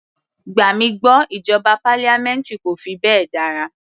Gbà mí gbọ́ ìjọba parliamentary kò fi bẹ́ẹ̀ dára.